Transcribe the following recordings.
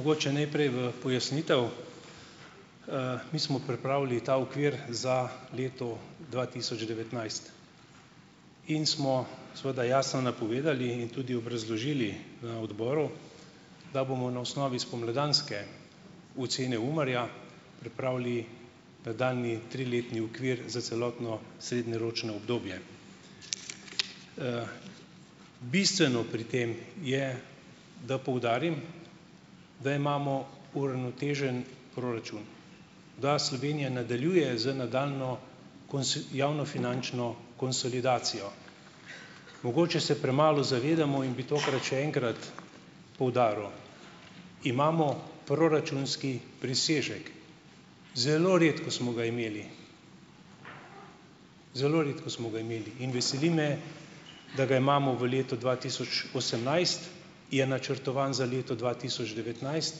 Mogoče najprej v pojasnitev. Mi smo pripravili ta okvir za leto dva tisoč devetnajst. In smo seveda jasno napovedali in tudi obrazložili na odboru, da bomo na osnovi spomladanske ocene UMAR-ja pripravili nadaljnji triletni okvir za celotno srednjeročno obdobje. Bistveno pri tem je, da poudarim, da imamo uravnotežen proračun, da Slovenija nadaljuje z nadaljnjo javnofinančno konsolidacijo. Mogoče se premalo zavedamo, in bi tokrat še enkrat poudaril, imamo proračunski presežek, zelo redko smo ga imeli, zelo redko smo ga imeli, in veseli me, da ga imamo v letu dva tisoč osemnajst, je načrtovan za leto dva tisoč devetnajst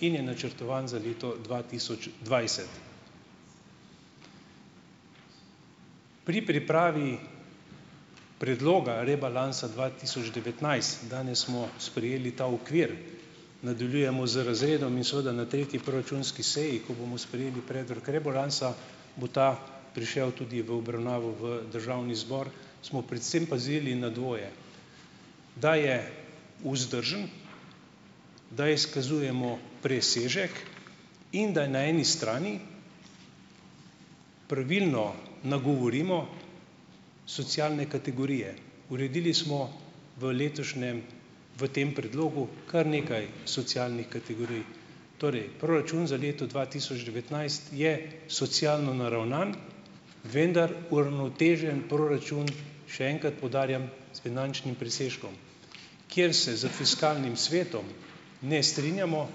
in je načrtovan za leto dva tisoč dvajset. Pri pripravi predloga rebalansa dva tisoč devetnajst, danes smo sprejeli ta okvir, nadaljujemo z razredom in seveda na tretji proračunski seji, ko bomo sprejeli predlog rebalansa, bo ta prišel tudi v obravnavo v državni zbor, smo predvsem pazili na dvoje - da je vzdržen, da izkazujemo presežek in da na eni strani pravilno nagovorimo socialne kategorije. Uredili smo v letošnjem, v tem predlogu, kar nekaj socialnih kategorij. Torej, proračun za leto dva tisoč devetnajst je socialno naravnan, vendar uravnotežen proračun, še enkrat poudarjam, s finančnim presežkom. Kjer se z fiskalnim svetom ne strinjamo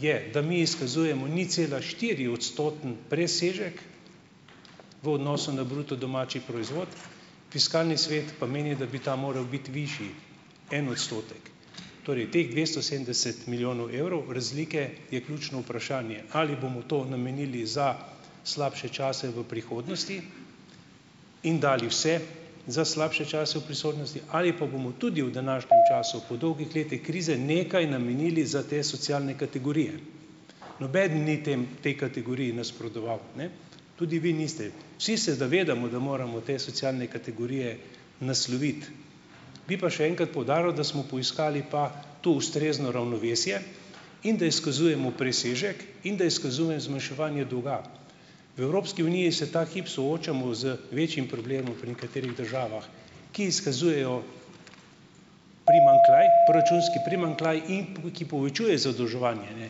je, da mi izkazujemo ničcelaštiriodstoten presežek v odnosu na bruto domači proizvod, fiskalni svet pa meni, da bi ta moral biti višji - en odstotek. Torej teh dvesto sedemdeset milijonov evrov razlike je ključno vprašanje. Ali bomo to namenili za slabše čase v prihodnosti in dali vse za slabše čase v prisotnosti? Ali pa bomo tudi v današnjem času po dolgih letih krize nekaj namenili za te socialne kategorije? Nobeden ni tem tej kategoriji nasprotoval, ne, tudi vi niste. Vsi se zavedamo, da moramo te socialne kategorije nasloviti, bi pa še enkrat poudaril, da smo poiskali pa tu ustrezno ravnovesje in da izkazujemo presežek in da izkazujem zmanjševanje dolga. V Evropski uniji se ta hip soočamo z večjim problemom pri nekaterih državah, ki izkazujejo primanjkljaj proračunski primanjkljaj in pol, ki povečuje zadolževanje, ne.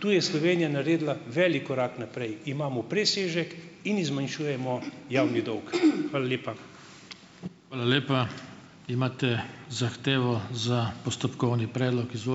Tu je Slovenija naredila velik korak naprej, imamo presežek in zmanjšujemo javni dolg. Hvala lepa.